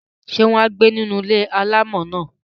Ṣé wọn á gbé inú ilé-alámọ̀ náà?